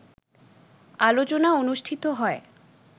আলোচনা অনুষ্ঠিত হয়